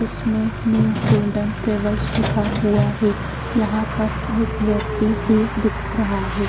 जिसमें new golden travels लिखा हुआ है यहां पर एक व्यक्ति भी दिख रहा है।